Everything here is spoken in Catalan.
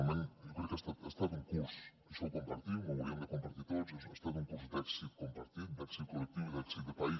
realment jo crec que ha estat un curs això ho compartim ho hauríem de compartir tots ha estat un curs d’èxit compartit d’èxit col·lectiu i d’èxit de país